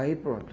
Aí pronto.